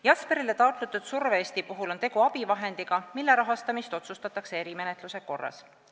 Jesperile taotletud survevest on abivahend, mille rahastamine otsustatakse erimenetluse korras.